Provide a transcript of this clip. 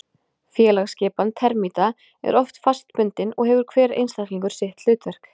Félagsskipan termíta er oft fastbundin og hefur hver einstaklingur sitt hlutverk.